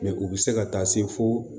u bɛ se ka taa se fo